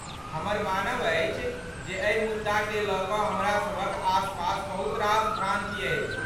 हमर मानब अछि जे एहि मुद्दाकेँ लऽ कऽ हमरासभक आसपास बहुत रास भ्रान्ति अछि।